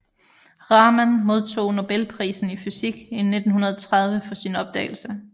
Raman modtog nobelprisen i fysik i 1930 for sin opdagelse